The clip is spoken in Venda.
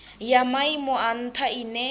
ya maimo a ntha ine